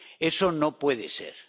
Eso no puede ser.